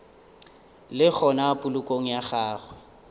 le gona polokong ya gagwe